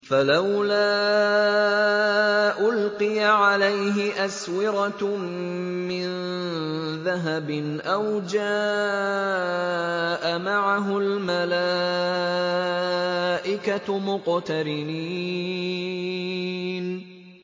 فَلَوْلَا أُلْقِيَ عَلَيْهِ أَسْوِرَةٌ مِّن ذَهَبٍ أَوْ جَاءَ مَعَهُ الْمَلَائِكَةُ مُقْتَرِنِينَ